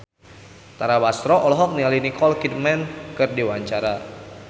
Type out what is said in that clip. Tara Basro olohok ningali Nicole Kidman keur diwawancara